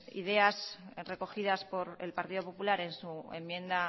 ideas recogidas por el partido popular en su enmienda